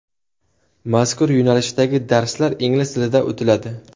Mazkur yo‘nalishdagi darslar ingliz tilida o‘tiladi.